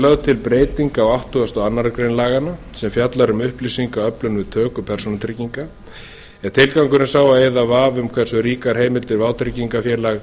lögð til breyting á áttugasta og aðra grein laganna sem fjallar um upplýsingaöflun við töku persónutrygginga tilgangurinn er sá að eyða vafa um hversu ríkar heimildir vátryggingafélag